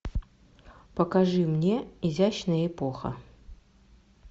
покажи мне изящная эпоха